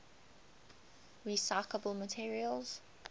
recyclable materials